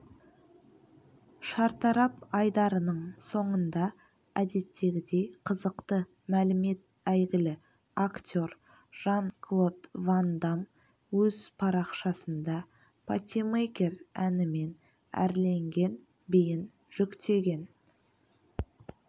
шартарап айдарының соңында әдеттегідей қызықты мәлімет әйгілі актер жан-клод ван дамм өз парақшасында патимейкер әнімен әрленген биін жүктеген